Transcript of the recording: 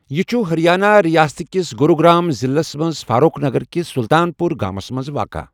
یہِ چھٗ ہریانہ رِیاست كِس گوٗروٗ گر٘ام ضِلس منز ،فاروٗخ نگر كِس سٗلطان پوٗر گامس منز واقع۔